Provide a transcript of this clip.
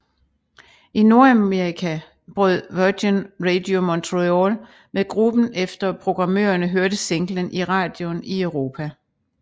I Nordamerika brød Virgin Radio Montreal med gruppen efter programmørerne hørte singlen i radioen i Europa